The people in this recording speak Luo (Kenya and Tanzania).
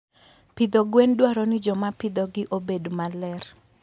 Pidho gwen dwaro ni joma pidhogi obed maler.